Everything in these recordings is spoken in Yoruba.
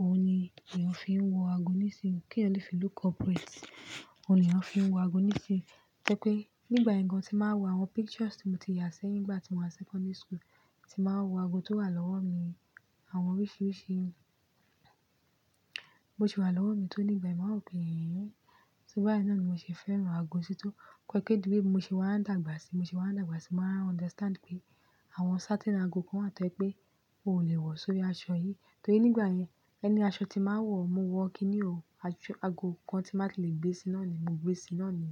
òun ni èèyàn fi ń wọ ago nísìnyí. Kí èèyàn lè fi look corporate, òun ni èèyàn fi ń wọ ago nísìnyí. Tó jẹ́ pé nígbà yẹn gan-an tí bá ń wo àwọn pictures tí mo ti yà sẹ́yìn nígbà tí mo wà secondary school, tí ń bá ń wo àwọn ago tó wà lọ́wọ́ mi, àwọn oríṣiríṣi mo ti wà lọ́wọ́ mi tó ní ìgbà yẹn máa ń pè é. Kò ń bá yẹn náà ni mo ṣe fẹ́ràn ago sí tó tó fi jẹ́ pé dúró mo ṣe wà ń dàgbà sí, mo ṣe wà ń dàgbà sí, mo máa understand pé àwọn certain ago kan wà tó jẹ pé ò lè wọ̀ sórí aṣọ yìí. Torí nígbà yẹn, ẹni aṣọ tí máa ń wọ̀, mo wọ̀ kíni o. Aṣọ-- ago kan tí máa lè gbé sí náà ni, mo gbé sí náà ni.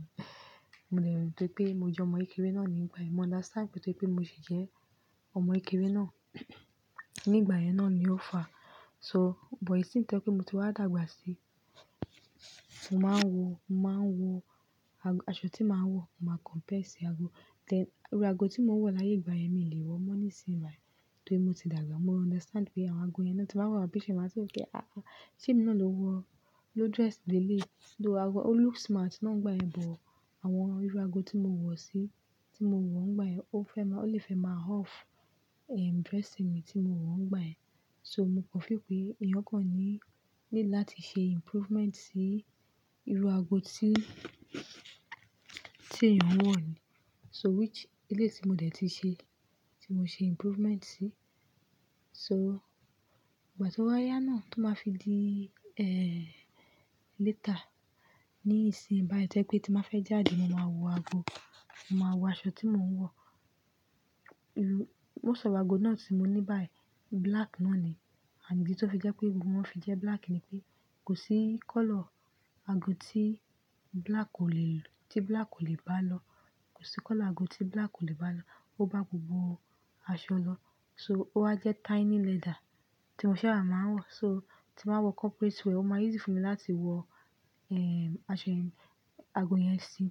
Mo lè rántí pé mo jẹ́ ọmọ kékeré náà nígbà yẹn. Mo understand pé torí pé mo sì jẹ́ ọmọ kékeré náà ní ìgbà yẹn náà ni ó fa. So but ìsinmi tí ẹ́ pé mo ti wá dàgbà sí, mo máa ń wo, mo máa ń wo ago-- aṣọ tí màá ń wọ̀, mo máa compare sí ago. Then irú ago tí mò ń wọ̀ láyé ìgbà yẹn mi ò lè wọ̀ mọ́ nísìnyí yìí Torí mo ti dàgbà, mo understand pé àwọn ago yẹn náà tí wá wà, bíṣí máa tó gé, "Ah! Ah! Ṣé mi náà ló wọ, ló dress bí eleyi?, ló ago-- ó looks smart" nígbà yẹn, but àwọn irú ago tí mo wọ̀ sí, tí mo wọ̀ nígbà yẹn, ó fẹ́ máa-- ó lè fẹ́ máa off, eh, dress mi tí mo wọ̀ nígbà yẹn. So mo kọ́ fí pé èèyàn kan ní, ní láti ṣe improvement sí irú ago tí, tí èèyàn ń wọ̀ ni. So which eléyìí tí mo dẹ̀ ti ṣe, tí mo ṣe improvement sí. So ìgbà tí ó wá yá náà tó máa fi di, eh, later ní ìsìn bá yí jẹ́ pé tí màá fẹ́ jáde, màá wọ ago, màá wọ aṣọ tí mò ń wọ̀. Irú-- mo sọ̀rọ̀ ago náà tí mo ní báyìí, black náà ni. And ìdí tó fi jẹ́ pé gbogbo wọn fi jẹ́ black ni pé kò sí color ago tí black ò lè lu, tí black ò lè bá lọ. Kò sí color ago tí black ò lè bá lọ. Ó bá gbogbo aṣọ lọ. So ó wá jẹ́ tiny leather tí mo sábà máa ń wọ̀. So tí màá wọ corporate wear, ó máa easy fún mi láti wọ, ẹ, aṣọ yẹn, ago yẹn sí.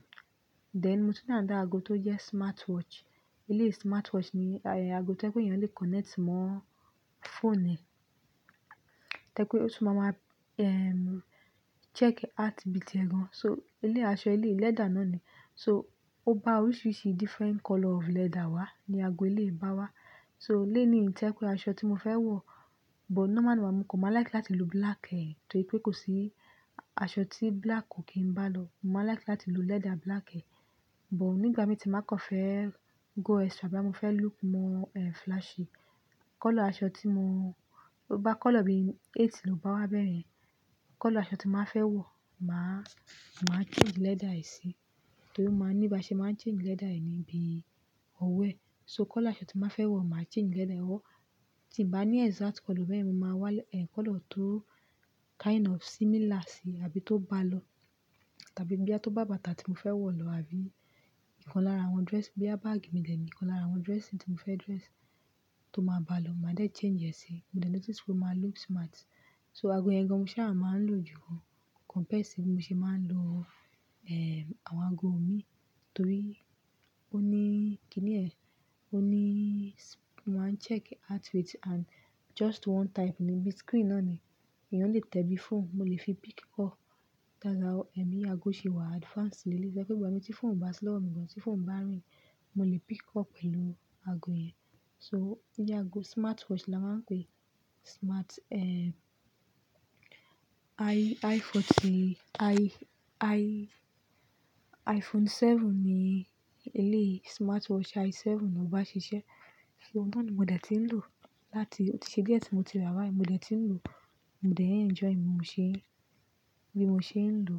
Then mo tún ní àdá ago tó jẹ́ smartwatch. Ilé smartwatch ni, ayẹyẹ ago tó ẹ́ pé ẹ̀yàn lè connect mọ́ phone ẹ. Tó jẹ́ pé ó tún máa máa, eh, check heartbeat ẹ gan. So eléyìí aṣọ, eléyìí leather náà ni. So ó bá oríṣiríṣi different color of leather wá, ni ago eléyìí bá wá. So lenii yìí tó jẹ́ pé aṣọ tí mo fẹ́ wọ̀, but normally màá mú kọ, màá like láti lu black ẹ. Torí pé kò sí aṣọ tí black ò kí ń bá lọ. Mo máa like láti lu leather black ẹ. But nígbà mí tí ń bá kàn fẹ́ go extra bá mi fẹ́ look more, eh, flashy, color aṣọ tí mo-- ó bá color bí ètí ló bá wá bẹ̀rẹ̀ ẹ́. Color aṣọ tí n bá fẹ́ wọ̀, màá, màá change leather ẹ síi. Torí ó máa ń níí bá ṣe máa ń change leather ẹ níbí ọwọ́ ẹ So color aṣọ tí n bá fẹ́ wọ̀, màá change leather ẹ wọ́. Tí mi ò bá ní exact color bẹ́ẹ̀, mo máa wá, eh, color tó kind of similar síí àbí tó bá lọ tàbí bí a tó bá bàtà tí mo fẹ́ wọ̀ lọ àbí ìkan lára àwọn dress, bí báàgì mi de ni, nǹkan lára àwọn dressing tí mo fẹ́ dress tó máa bá lọ, màá dẹ̀ change ẹ̀ sí. Mo dẹ̀ notice pé ó máa look smart. So ago yẹn gan mo sábà máa ń lò jù ká compared sí bí mo ṣe máa ń lo, eh, àwọn ago míì Torí ó ní kíni ẹ́, ó ní máa ń check heart rate and just one time níbi screen náà ni ẹ̀yàn lè tẹ ẹ bi phone. Mo lè fi pick call. Lára o, eh, mi ago ṣe wà advanced leleyii Tó jẹ́ pé ìgbà míì tí phone o bá sí lọ́wọ́ mi gan, tí phone bá rìn, mo lè pick call pẹ̀lú ago yẹn. So ni ago smartwatch la máa ń pè é Smart, eh, i, iPhone tí, i, i, iPhone 7 ni eléyìí ti smartwatch i7 náà bá ṣiṣẹ́. Òun náà ni mo dẹ̀ ti ń lò láti-- ó ti ṣe díẹ̀ tí mo ti rà báyìí, mo dẹ̀ ti ń lò ó Mo dẹ̀ enjoy ẹ bí mo ṣe ń, bí mo ṣe ń lò.